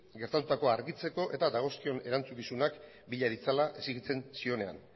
gertatukoa argitzeko eta dagozkion erantzukizunak bila ditzala exigitzen zionean